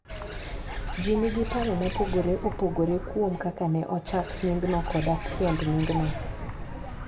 Ji nigi paro mopogore opogore kuom kaka ne ochak nyingno koda tiend nyingno.